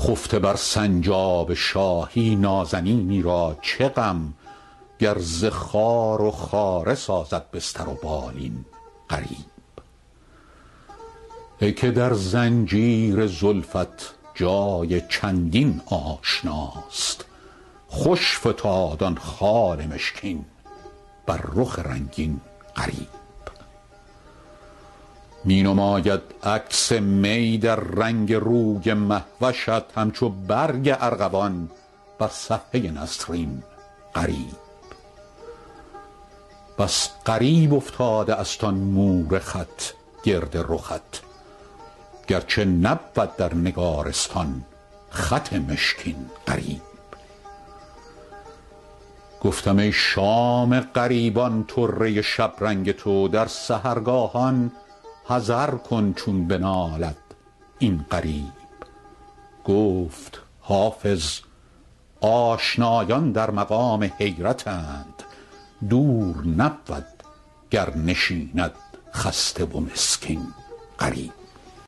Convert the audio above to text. خفته بر سنجاب شاهی نازنینی را چه غم گر ز خار و خاره سازد بستر و بالین غریب ای که در زنجیر زلفت جای چندین آشناست خوش فتاد آن خال مشکین بر رخ رنگین غریب می نماید عکس می در رنگ روی مه وشت همچو برگ ارغوان بر صفحه نسرین غریب بس غریب افتاده است آن مور خط گرد رخت گرچه نبود در نگارستان خط مشکین غریب گفتم ای شام غریبان طره شبرنگ تو در سحرگاهان حذر کن چون بنالد این غریب گفت حافظ آشنایان در مقام حیرتند دور نبود گر نشیند خسته و مسکین غریب